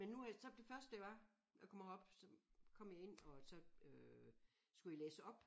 Men nu er så det første det var jeg kommer herop så kom jeg ind og så øh skulle jeg læse op